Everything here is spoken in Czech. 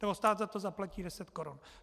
Nebo stát za to zaplatí deset korun.